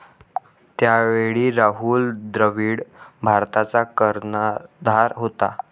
त्यावेळी राहुल द्रविड भारताचा कर्णधार होता.